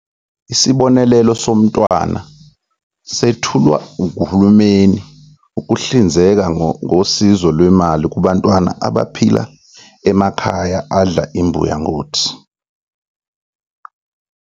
Isibonelelo somntwana sethulwa nguhulumeni ukuhlinzeka ngosizo lwemali kubantwana abaphila emakhaya adla imbuya ngothi.